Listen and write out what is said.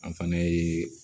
An fana ye